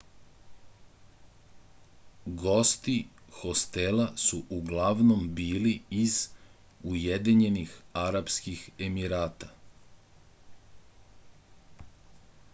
gosti hostela su uglavnom bili iz ujedinjenih arapskih emirata